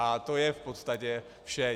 A to je v podstatě vše.